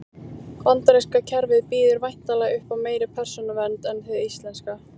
Bandaríska kerfið býður væntanlega upp á meiri persónuvernd en hið íslenska.